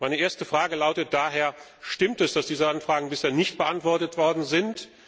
Meine erste Frage lautet daher Stimmt es, dass diese Anfragen bisher nicht beantwortet worden sind?